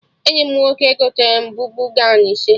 Enyi m nwoke gotere m bubu gọwn ise